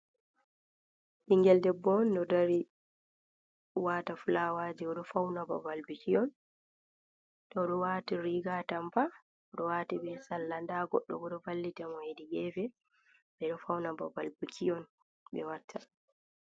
Bingel ɗebbo on ɗo dari. Oɗowata fulawa je ɗo fauna babal biki on. toɗu wati riga atampa. Oɗo wati be salla . Nɗa goɗɗo bo ɗo vallita mo heɗi gefe. Be ɗo fauna babal biki on be watta.